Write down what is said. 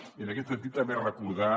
i en aquest sentit també recordar